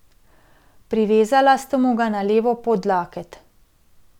Privezala sta mu ga na levo podlaket.